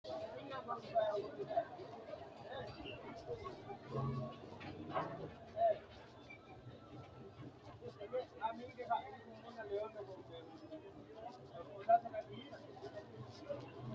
tini maa xawissanno misileeti ? mulese noori maati ? hiissinannite ise ? tini kultannori mattiya? baatto mamichite? minne mayiinni minnoonni? naffara noori maatti? gateenni badhee May leelanno?